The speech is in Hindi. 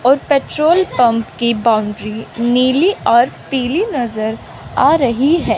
और पेट्रोल पंप की बाउंड्री नीली और पीली नजर आ रही है।